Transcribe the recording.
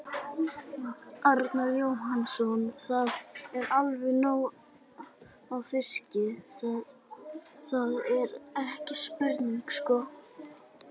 Arnar Jóhannsson: Það er allavega nóg af fiski, það, það er ekki spurning sko?